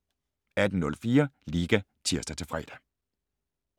18:04: Liga (tir-fre)